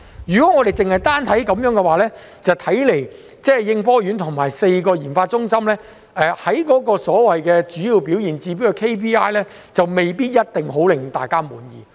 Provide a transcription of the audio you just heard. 如果我們單看這些數據的話，看來應科院和4個研發中心在所謂的主要表現指標，未必一定可以令大家很滿意。